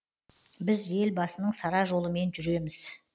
біз елбасының сара жолымен жүреміз